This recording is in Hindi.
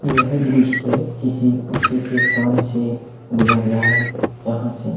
यह दृश्य किसी उंचे से स्थान से लिया गया है जहाँ से--